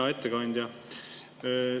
Hea ettekandja!